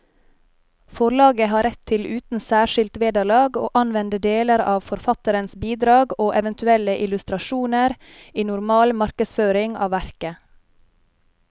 Forlaget har rett til uten særskilt vederlag å anvende deler av forfatterens bidrag og eventuelle illustrasjoner i normal markedsføring av verket.